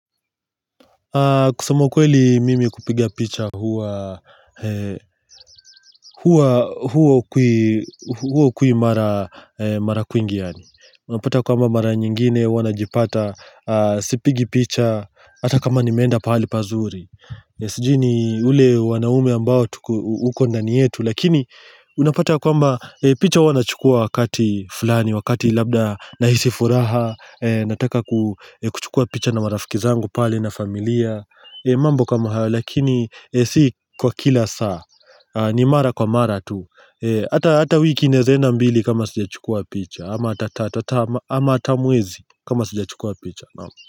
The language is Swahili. Kusema ukweli mimi kupiga picha huwa huo kui mara mara kuingiani. Unapata kwamba mara nyingine huwa najipata sipige picha hata kama nimeenda pahali pazuri. Sijui ni ule wanaume ambao uko ndani yetu lakini unapata ya kwamba picha huwa nachukua wakati fulani wakati labda nahisi furaha. Nataka ku kuchukua picha na marafiki zangu pale na familia. Mambo kama hayo lakini si kwa kila saa ni mara kwa mara tu hata hata wiki inawezenda mbili kama sija chukua picha ama hata mwezi kama sija chukua picha.